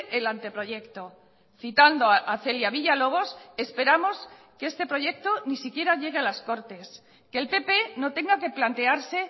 el anteproyecto citando a celia villalobos esperamos que este proyecto ni siquiera llegue a las cortes que el pp no tenga que plantearse